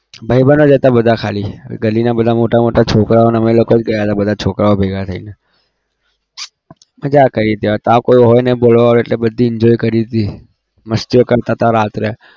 ભાઈબંધો જ હતા બધા ખાલી ગલીના બધા મોટા મોટા છોકરાઓ અને અમે લોકો જ ગયા હતા બધા છોકરાઓ ભેગા થઈને મજા કરી ત્યાં કોઈ હોય નઈ બોલાવાવાળું એટલે બધી enjoy કરી દીધી મસ્તીઓ કરતા હતા રાત્રે.